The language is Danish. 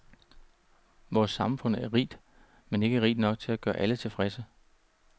Vores samfund er rigt, men ikke rigt nok til at gøre alle tilfredse.